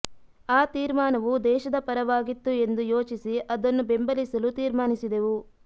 ಆ ತೀರ್ಮಾನವು ದೇಶದ ಪರವಾಗಿತ್ತು ಎಂದು ಯೋಚಿಸಿ ಅದನ್ನು ಬೆಂಬಲಿಸಲು ತೀರ್ಮಾನಿಸಿದೆವು